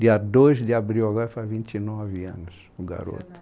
Dia dos de abril agora faz vinte e nove anos o garoto.